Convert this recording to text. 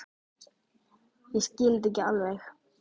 Ég skil þetta ekki alveg.